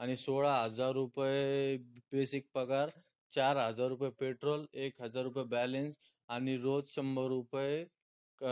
आणि सोळा हजार रुपये basic पगार, चार हजार रुपये petrol, एक हजार रुपये balance आनि रोज शंभर रुपये